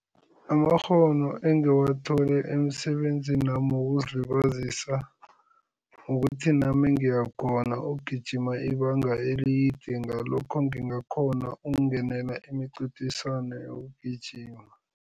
Amakghono engiwathole emisebenzinami wokuzilibazisa kukuthi nami ngiyakhona ukugijima ibanga elide, ngalokho ngingakghona ukungenela imincintiswano yokugijima.